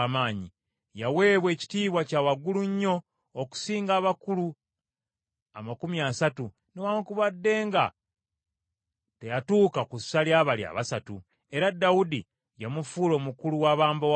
Yaweebwa ekitiibwa kya waggulu nnyo okusinga abakulu amakumi asatu, newaakubadde nga teyatuuka ku ssa lya bali abasatu. Era Dawudi yamufuula omukulu w’abambowa be.